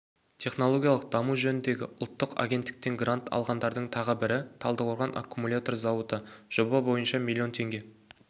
технологиялық даму жөніндегі ұлттық агенттіктен грант алғандардың тағы бірі талдықорған аккумулятор зауыты жоба бойынша млн теңге